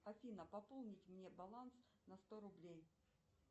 афина пополнить мне баланс на сто рублей